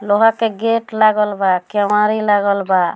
लोहा के गेट लागल बा केवाड़ी लागल बा।